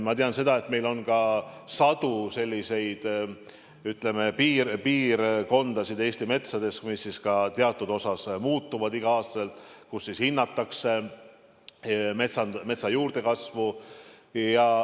Ma tean, et meil on sadu selliseid piirkondi Eesti metsades, mis ka teatud osas iga aasta muutuvad, kus hinnatakse metsa juurdekasvu.